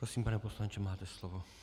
Prosím, pane poslanče, máte slovo.